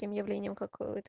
объявления